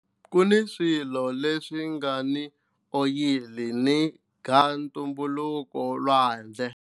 Ku ni swilo leswi nga ni oyili ni gasi ntumbuluko elwandle.